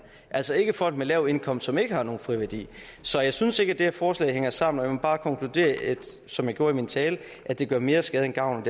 altså ikke folk med lav indkomst som ikke har nogen friværdi så jeg synes ikke det her forslag hænger sammen og jeg må bare konkludere som jeg gjorde i min tale at det gør mere skade end gavn og